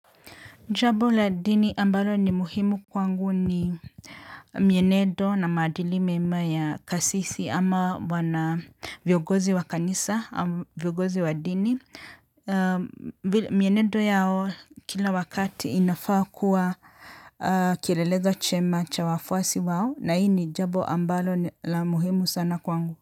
Jambo la dini ambalo ni muhimu kwangu ni mienendo na maadili mema ya kasisi ama wana viongozi wa kanisa au viongozi wa dini. Mienedo yao kila wakati inafaa kuwa kilelezo chema cha wafwasi wao na hii ni jambo ambalo la muhimu sana kwangu.